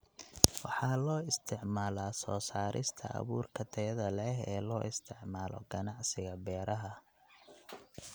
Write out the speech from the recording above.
Waxaa loo isticmaalaa soo saarista abuurka tayada leh ee loo isticmaalo ganacsiga beeraha.